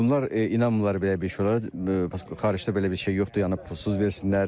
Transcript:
Bunlar inanmırlar belə bir şey, xaricdə belə bir şey yoxdur, yəni pulsuz versinlər.